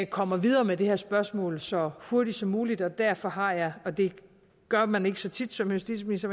kommer videre med det her spørgsmål så hurtigt som muligt og derfor har jeg og det gør man ikke så tit som justitsminister